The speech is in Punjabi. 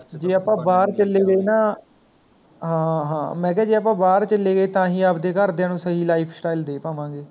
ਜੇ ਆਪਾਂ ਬਾਹਰ ਚਲੈ ਗਏ ਨਾ ਹਾਂ ਹਾਂ ਮੈ ਕਿਹਾ ਜੇ ਆਪਾਂ ਬਾਹਰ ਚਲੇ ਗਏ ਤਾਂ ਹੀ ਆਪਦੇ ਘਰਦਿਆ ਨੂੰ ਸਹੀ Life style ਦੇ ਪਾਵਾਂਗੇ